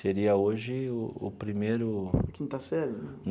Seria hoje o primeiro... A quinta série?